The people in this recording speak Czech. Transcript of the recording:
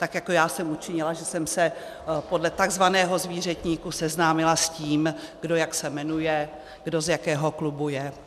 Tak jako já jsem učinila, že jsem se podle takzvaného zvířetníku seznámila s tím, kdo se jak jmenuje, kdo z jakého klubu je.